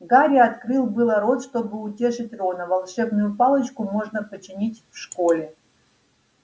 гарри открыл было рот чтобы утешить рона волшебную палочку можно починить в школе